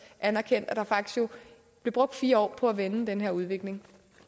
anerkendte at der faktisk blev brugt fire år på at vende den her udvikling